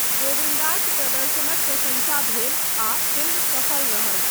गोविन्दाक प्रदर्शनक प्रशंसा भेल आ फिल्म सफल रहल।